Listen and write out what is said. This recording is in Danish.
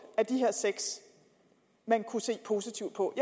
af de her seks man kunne se positivt på